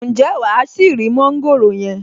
Ǹjẹ́ wàá ṣì rí mọ́ńgòrò yẹn?